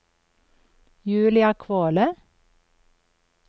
Julia Kvåle